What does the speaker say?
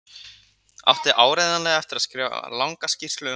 Átti áreiðanlega eftir að skrifa langa skýrslu um málið.